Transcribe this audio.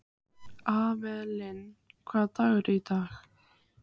Avelin, hvaða dagur er í dag?